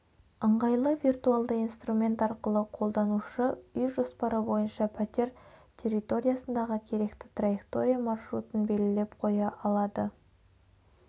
ыңғайлы виртуалды инструмент арқылы қолданушы үй жоспары бойынша пәтер территориясындағы керекті траектория маршрутын белгілеп қоя алады